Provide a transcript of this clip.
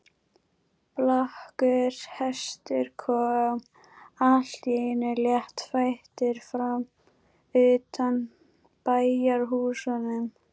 Blakkur hestur kom allt í einu léttfættur fram undan bæjarhúsunum.